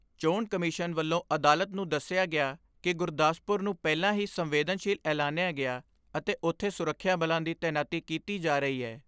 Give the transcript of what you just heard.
ਚੋਣ ਕਮਿਸ਼ਨ ਵੱਲੋਂ ਅਦਾਲਤ ਨੂੰ ਦਸਿਆ ਗਿਆ ਕਿ ਗੁਰਦਾਸਪੁਰ ਨੂੰ ਪਹਿਲਾਂ ਹੀ ਸੰਵੇਦਨਸ਼ੀਲ ਐਲਨਾਇਆ ਗਿਆ ਅਤੇ ਉਥੇ ਸੁਰੱਖਿਆ ਬਲਾਂ ਦੀ ਤੈਨਾਤੀ ਕੀਤੀ ਜਾ ਰਹੀ ਏ।